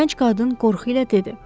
Gənc qadın qorxu ilə dedi.